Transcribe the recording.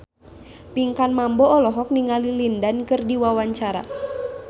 Pinkan Mambo olohok ningali Lin Dan keur diwawancara